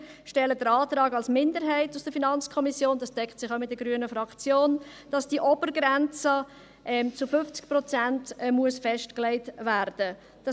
Wir stellen einen Antrag als Minderheit der FiKo, welcher sich mit der Haltung der grünen Fraktion deckt, wonach die Obergrenze auf 50 Prozent festgelegt werden muss.